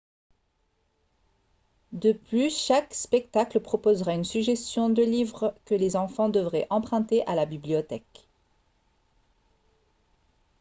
de plus chaque spectacle proposera une suggestion de livres que les enfants devraient emprunter à la bibliothèque